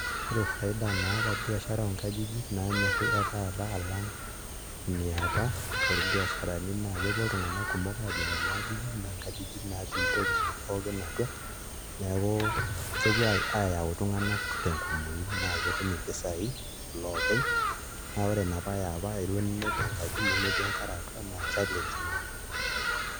Ore faida naata biashara oonkajijik naanyorri etaata alang' iniapa torbiasharani naa kepuo iltung'anak kumok aajing' nena ajijik naa nkajijik naatii ntokitin pookin atua, neeku kepuo aayau iltung'anak tenkumooi naa ketum mpisaai iloopeny naa ore inapa e apa elo ninepu enkaji nemetii enkare atua naa challenge ina.